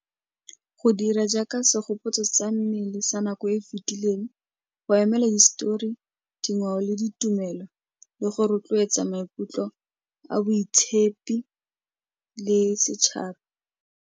Go dira jaaka segopotso sa mmele sa nako e e fitileng, go emela histori, dingwao, le ditumelo le go rotloetsa maikutlo a boitshepi le setšhaba.